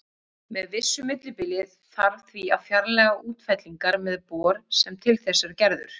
Með vissu millibili þarf því að fjarlægja útfellingar með bor sem er til þess gerður.